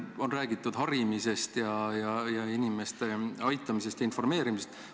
On räägitud harimisest ja inimeste aitamisest ja informeerimisest.